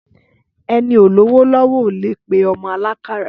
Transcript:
Ẹni ó lówò lọwọ ólẹ pẹ ọmọ àlàkàrà